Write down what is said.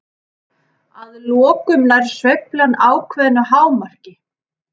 Að lokum nær sveiflan ákveðnu hámarki.